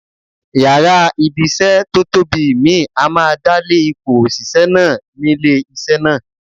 Yàrá ibi-iṣẹ́ tó tóbi mìíì á máa dálé ipò òṣìṣẹ́ náà nílé iṣẹ́ náà.